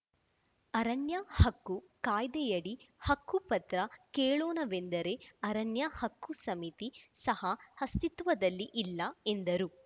ಅರಣ್ಯಹಕ್ಕು ಕಾಯದೆ ಆಡಿ ಹಕ್ಕುಪತ್ರ ಕೇಳೋಣವೆಂದರೆ ಅರಣ್ಯಹಕ್ಕು ಸಮಿತಿ ಸಹ ಅಸ್ತಿತ್ವದಲ್ಲಿ ಇಲ್ಲ ಎಂದರು